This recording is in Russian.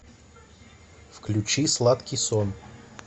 включи сладкий сон